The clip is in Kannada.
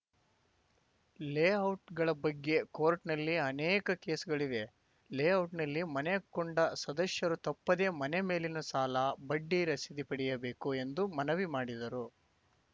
ಲೇಔಟ್‌ಗಳ ಬಗ್ಗೆ ಕೋಟ್‌ರ್‍ನಲ್ಲಿ ಅನೇಕ ಕೇಸ್‌ಗಳಿವೆ ಲೇಔಟ್‌ನಲ್ಲಿ ಮನೆ ಕೊಂಡ ಸದಸ್ಯರು ತಪ್ಪದೇ ಮನೆ ಮೇಲಿನ ಸಾಲ ಬಡ್ಡಿ ರಸೀದಿ ಪಡೆಯಬೇಕು ಎಂದು ಮನವಿ ಮಾಡಿದರು